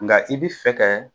Nga i bi fɛ kɛ